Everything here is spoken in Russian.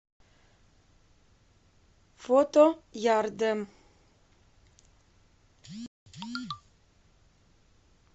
фото ярдэм